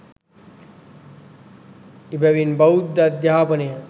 එබැවින් බෞද්ධ අධ්‍යාපනය